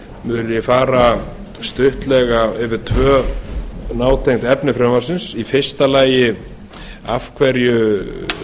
mun ég fara yfir tvö nátengd efni frumvarps í fyrsta lagi af hverju